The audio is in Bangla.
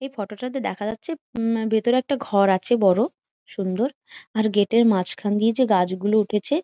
এই ফটো তা দেখা যাচ্ছে উম ভিতরে একটা ঘর আছে বড় সুন্দর | আর গেট এর মাঝখান দিয়ে যে গাছ গুলো উঠেছে--